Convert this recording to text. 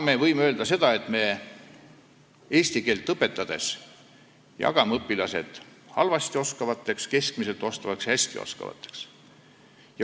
Me võime öelda, et me eesti keelt õpetades jagame õpilased seda halvasti, keskmiselt ja hästi oskavateks.